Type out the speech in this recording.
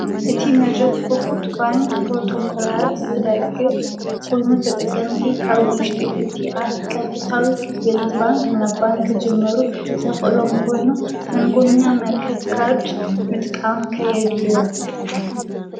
እቲ መድረህ ኽፉት ባንክ ጵሮተኮላት ዝደግፍ ኮይኑ ተጠቀምቲ ካብ ውሽጢ እቲ ኣቃጥታዊ ክፌሊት ባንክ እናብ ባንክ ጅመሩ ሰኽሎም ኮይኑ መንጎኛ መርከብ ካድ ምጥቃም ከየድሉ ዮም።